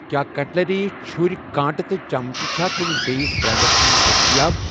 کیٛاہ کٹ لری چُھرؠ، کانٛٹہٕ تہٕ چمچہٕ چھا کُنہِ بیٚیہِ برنڑَس منٛز دٔستیاب۔